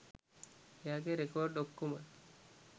එයාගෙ රෙකොර්ඩ් ඔක්කොම